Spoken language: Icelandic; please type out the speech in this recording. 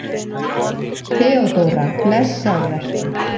THEODÓRA: Blessaður vertu!